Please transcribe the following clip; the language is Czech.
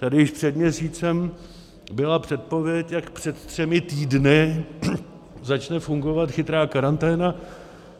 Tady již před měsícem byla předpověď, jak před třemi týdny začne fungovat chytrá karanténa.